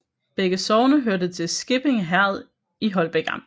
Begge sogne hørte til Skippinge Herred i Holbæk Amt